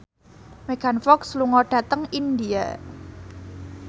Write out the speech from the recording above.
Megan Fox lunga dhateng India